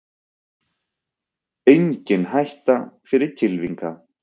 Engin hætta fyrir kylfinga